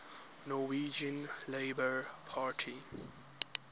norwegian labour party